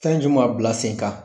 Fɛn juma bila sen kan?